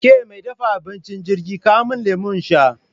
Ke mai dafa abincin jirgi, kawo min lemu in sha!